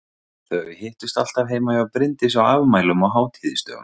Þau hittust alltaf heima hjá Bryndísi á afmælum og hátíðisdögum.